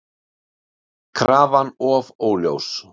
Krafan of óljós